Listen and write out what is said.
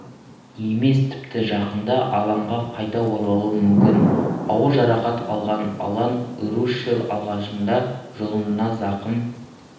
емес тіпті жақында алаңға қайта оралуы мүмкін ауыр жарақат алған алан русшел алғашында жұлынына зақым